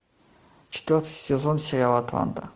четвертый сезон сериал атланта